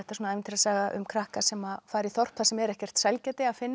ævintýrasaga um krakka sem fara í þorp þar sem er ekkert sælgæti að finna